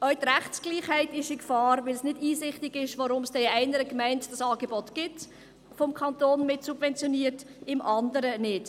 Auch die Rechtsgleichheit ist in Gefahr, da es nicht einsichtig ist, warum es in einer Gemeinde ein vom Kanton mitsubventioniertes Angebot gibt und in der anderen nicht.